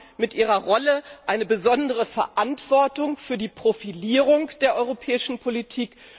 Sie haben mit Ihrer Rolle eine besondere Verantwortung für die Profilierung der europäischen Politik.